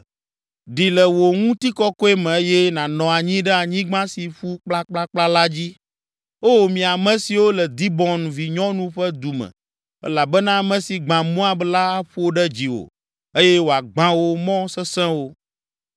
“Ɖi le wò ŋutikɔkɔe me eye nànɔ anyi ɖe anyigba si ƒu kplakplakpla la dzi, O mi ame siwo le Dibon vinyɔnu ƒe du me elabena ame si gbã Moab la aƒo ɖe dziwò eye wòagbã wò mɔ sesẽwo.